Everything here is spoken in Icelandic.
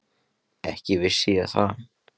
ekki vissi ég það.